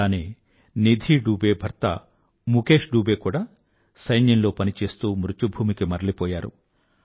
అలానే నిధీ డూబే భర్త ముఖేష్ డూబే కూదా సైన్యంలో పని చేస్తూ మృత్యుభూమికి మరలిపోయారు